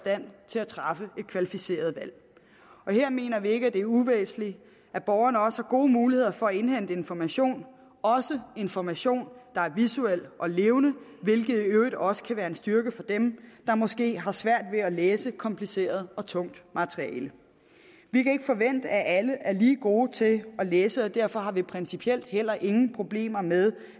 træffe et kvalificeret valg her mener vi ikke at det er uvæsentligt at borgerne også har gode muligheder for at indhente information også information der er visuel og levende hvilket i øvrigt også kan være en styrke for dem der måske har svært ved at læse kompliceret og tungt materiale vi kan ikke forvente at alle er lige gode til at læse og derfor har vi principielt heller ingen problemer med